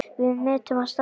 Við metum hans starf.